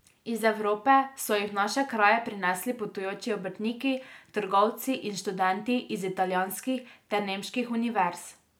Iz Evrope so jih v naše kraje prinesli potujoči obrtniki, trgovci in študenti iz italijanskih ter nemških univerz.